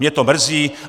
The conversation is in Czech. Mě to mrzí.